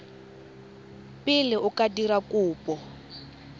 pele o ka dira kopo